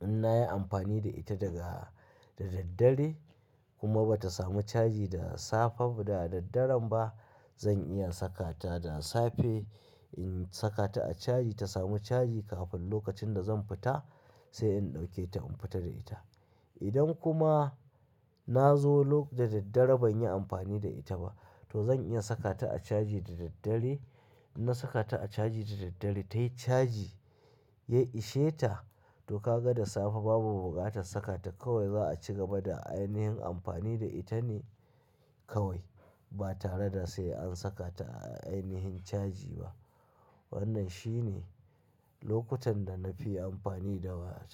in nayi amfani da ita daga da daddare kuma ba ta samu caji da safe, da daddaren ba, zan iya saka ta da safe. In saka ta a caji ta samu caji kafin lokacin da zan fita sai in ɗauke ta in fita da ita. Idan kuma na zo da daddare banyi amfani da ita ba to zan iya saka ta a caji da daddare. Na saka ta a caji da daddare tayi caji, ya ishe ta to ka ga da safe babu buƙatar saka ta kawai za'a cigaba da ainihin amfani da ita ne kawai ba tare da sai an saka ta a ainihin caji ba. Wannan shi ne lokutan da na fi amfani da wayata.